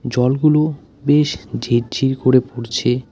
জলগুলো বেশ ঝিরঝির করে পড়ছে ।